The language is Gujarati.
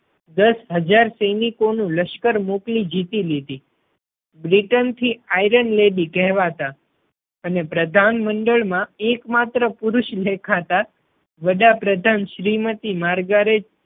દસ હજાર સૈનિકો નું લશ્કર મોકલી જીતી લીધી. બ્રિટન થી iron lady કહેવાતા અને પ્રધાન મંડળ માં એક માત્ર પુરુષ દેખાતા વડા પ્રધાન શ્રીમતી માર્ગારેજ